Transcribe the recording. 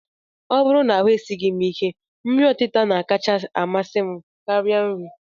Ọ bụrụ na ahụ esighị m ike, nri ọtịta na-akacha amasị m karịa nri